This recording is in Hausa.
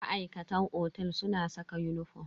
Ma'aikatan otel suna saka uniform.